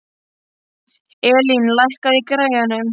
Elín, lækkaðu í græjunum.